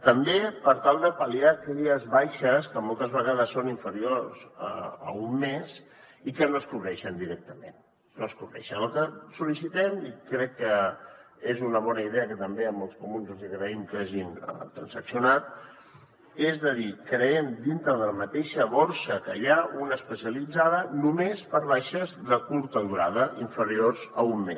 també per tal de pal·liar aquelles baixes que moltes vegades són inferiors a un mes i que no es cobreixen directament no es cobreixen el que sol·licitem i crec que és una bona idea que també als comuns els hi agraïm que ho hagin transaccionat és de dir creem dintre de la mateixa borsa que hi ha una d’especialitzada només per a baixes de curta durada inferiors a un mes